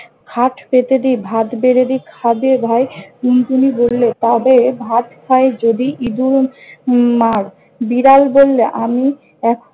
হাত পেতে দি, ভাত বেড়ে দি, খাবে ভাই? টুনটুনি বললে- তবে ভাত খাই যদি ইদুর উম মার। বিড়াল বললে- আমি এখ~